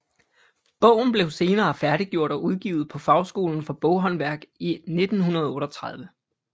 Bogen blev senere færdiggjort og udgivet på Fagskolen for Boghåndværk i 1938